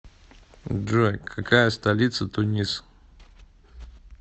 джой какая столица тунис